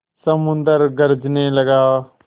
समुद्र गरजने लगा